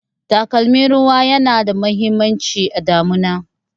Takalmin ruwa yana da muhimmanci a damuna